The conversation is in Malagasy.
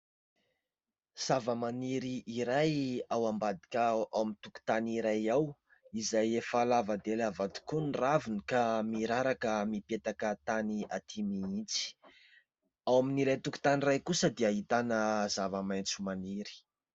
Zavamaniry iray ao ambadika ao amin'ny tokotany iray ao, izay efa lava dia lava tokoa ny raviny ka miraraka mipetaka tany atỳ mihitsy. Ao amin'ilay tokotany iray kosa dia ahitana zavamaitso maniry.